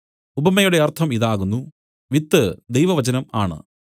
ഉപമയുടെ അർത്ഥം ഇതാകുന്നു വിത്ത് ദൈവവചനം ആണ്